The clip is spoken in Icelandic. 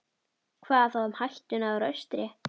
Hvað þá um hættuna úr austri?